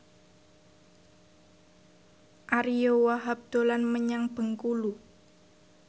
Ariyo Wahab dolan menyang Bengkulu